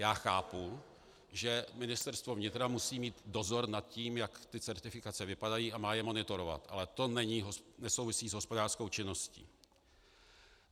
Já chápu, že Ministerstvo vnitra musí mít dozor nad tím, jak ty certifikace vypadají, a má je monitorovat, ale to nesouvisí s hospodářskou činností.